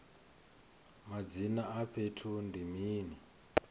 madzina a fhethu ndi mini